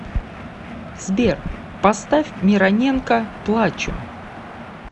сбер поставь мироненко плачу